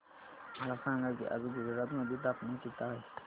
मला सांगा की आज गुजरात मध्ये तापमान किता आहे